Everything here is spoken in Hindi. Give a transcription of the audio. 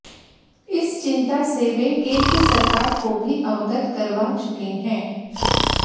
इस चिंता से वे केंद्र सरकार को भी अवगत करवा चुके हैं